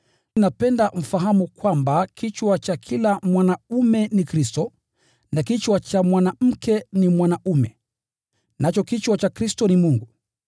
Napenda mfahamu kwamba kichwa cha kila mwanaume ni Kristo, na kichwa cha mwanamke ni mwanaume, nacho kichwa cha Kristo ni Mungu.